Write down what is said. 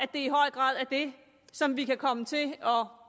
det i høj grad er det som vi kan komme til at